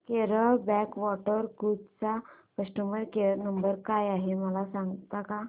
Kerala backwater cruise चा customer care number काय आहे मला सांगता का